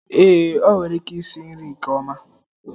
Ee, o nwere ike isi nri nke ọma.